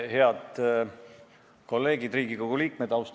Head kolleegid Riigikogu liikmed!